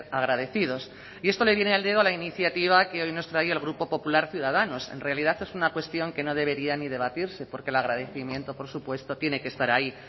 agradecidos y esto le viene al dedo a la iniciativa que hoy nos trae el grupo popular ciudadanos en realidad es una cuestión que no debería ni debatirse porque el agradecimiento por supuesto tiene que estar ahí